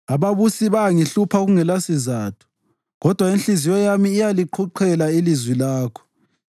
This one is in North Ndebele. Ababusi bayangihlupha kungelasizatho, kodwa inhliziyo yami iyaliqhuqhela ilizwi lakho.